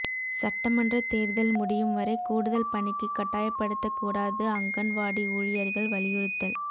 சட்டமன்ற தேர்தல் முடியும் வரை கூடுதல் பணிக்கு கட்டாயப்படுத்தகூடாது அங்கன்வாடி ஊழியர்கள் வலியுறுத்தல்